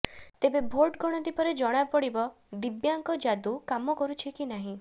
ତେବେ ଭୋଟ ଗଣତି ପରେ ଜଣାପଡିବ ଦିବ୍ୟାଙ୍କ ଯାଦୁ କାମ କରୁଛି କି ନାହିଁ